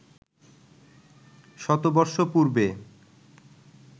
শতবর্ষ পূর্বে